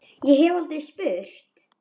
Ég hef aldrei spurt.